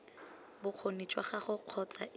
bokgoni jwa gagwe kgotsa ii